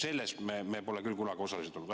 Selles pole me küll kunagi osalised olnud.